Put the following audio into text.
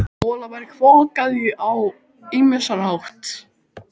Molaberg er flokkað á ýmsan hátt.